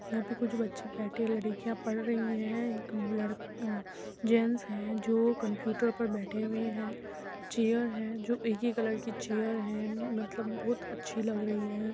यहाँ पे कुछ बच्चे बैठे हैं। लड़कियां पढ़ रही हैं। एक लड़का अ जैंट्स है जो कम्पुटर पर बैठे हुए हैं। चैर हैं जो एक ही कलर की चैर है। मतलब बोहोत अच्छी लग रही है।